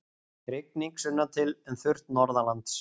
Rigning sunnantil en þurrt norðanlands